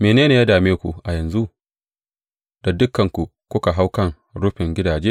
Mene ne ya dame ku a yanzu, da dukanku kuka hau kan rufin gidaje.